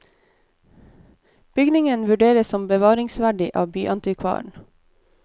Bygningen vurderes som bevaringsverdig av byantikvaren.